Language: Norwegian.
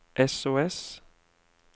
sos